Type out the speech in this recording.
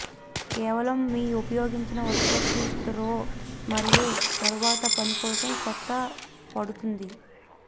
కేవలం మీ ఉపయోగించిన ఉత్పత్తి త్రో మరియు తరువాతి పని కోసం కొత్త పడుతుంది